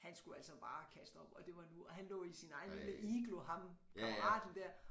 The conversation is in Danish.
Han skulle altså bare kaste op og det var nu og han lå i sin egen lille iglo ham kammeraten dér